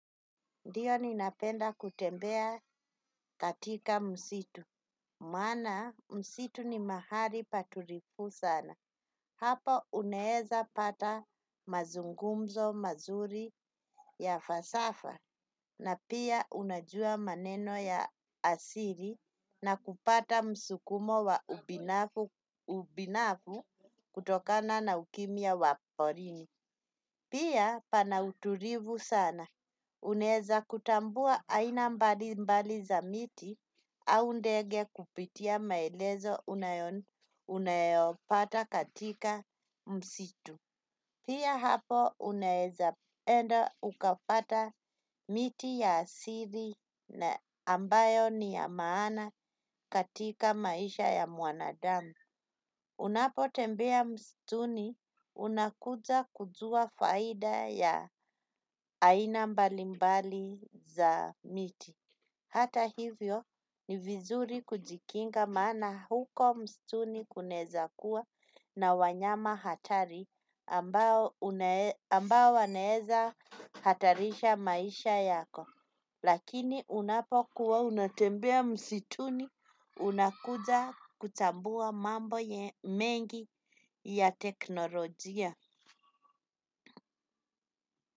Ndiyo ninapenda kutembea katika msitu. Mana msitu ni mahali paturifu sana. Hapo uneeza pata mazungumzo mazuri ya fasafa. Na pia unajua maneno ya asiri na kupata msukumo wa ubinafu kutokana na ukimia wa porini. Pia pana uturifu sana. Uneza kutambua aina mbali mbali za miti au ndege kupitia maelezo unayopata katika msitu. Pia hapo uneza enda ukapata miti ya asiri na ambayo ni ya maana katika maisha ya muanadamu. Unapo tembea mstuni, unakuja kujua faida ya aina mbalimbali za miti. Hata hivyo ni vizuri kujikinga maana huko mstuni kuneza kuwa na wanyama hatari ambao waneza hatarisha maisha yako. Lakini unapo kuwa unatembea msituni unakuja kutambua mambo ya mengi ya teknolojia.